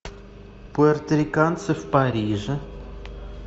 пуэрториканцы в париже